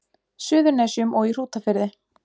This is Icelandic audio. Suðurnesjum og í Hrútafirði.